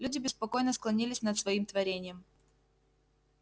люди беспокойно склонились над своим творением